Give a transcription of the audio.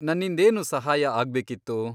ನನ್ನಿಂದೇನು ಸಹಾಯ ಆಗ್ಬೇಕಿತ್ತು?